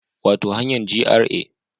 Wato hanyar GRA